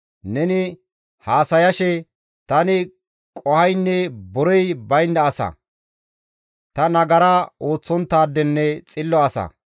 Neni haasayashe, ‹Tani qohoynne borey baynda asa; tani nagara ooththonttaadenne xillo asa.